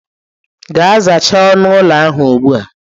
Gaa zachaa onu ụlọ ahụ ugbu a.